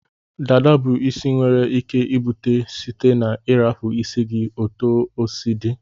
Dada bu isi enwere ike ibute site na irapu isi gi otu osi di.